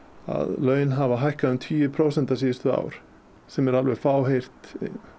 laun hafa hækkað um tugi prósenta síðustu ár sem er alveg fáheyrt